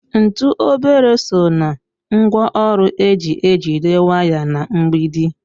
Ntụ obere so ná ngwaọrụ eji ejide waya na mgbidi.